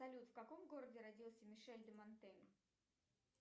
салют в каком городе родился мишель де монтень